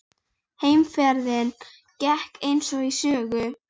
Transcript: Heimferðin gekk eins og í sögu.